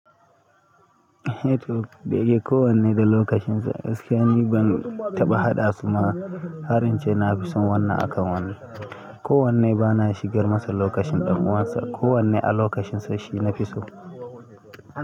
Heto, dayake kowanne da lokacin sa. Gaskiya ni ban taɓa haɗa su ma, harin ce na fi son wannan akan wannan. Kowanne ba na shigar masa lokacin ɗan uwansa, kowanne a lokacin sa shi nafi so.